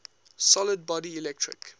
solid body electric